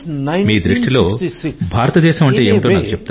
మీ దృష్టిలో భారతదేశం అంటే ఏమిటో నాకు చెప్తారా